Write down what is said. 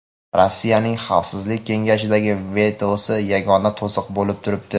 Rossiyaning Xavfsizlik kengashidagi vetosi yagona to‘siq bo‘lib turibdi.